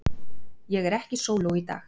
Ég er ekki sóló í dag.